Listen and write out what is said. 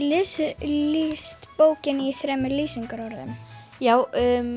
lýst bókinni með þremur lýsingarorðum já